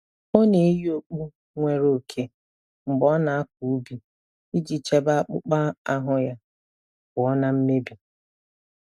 Ọ na-eyi okpu nwere oke mgbe ọ na-akọ ubi iji chebe akpụkpọ ahụ ya pụọ na mmebi